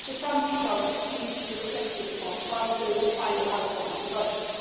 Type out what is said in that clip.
Some details will still need to be reflected upon once there is a final outcome on the budget.